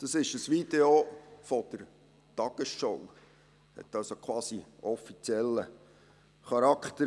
Es ist ein Video der «Tagesschau», hat also quasi offiziellen Charakter.